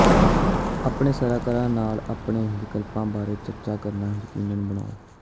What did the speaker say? ਆਪਣੇ ਸਲਾਹਕਾਰ ਨਾਲ ਆਪਣੇ ਵਿਕਲਪਾਂ ਬਾਰੇ ਚਰਚਾ ਕਰਨਾ ਯਕੀਨੀ ਬਣਾਓ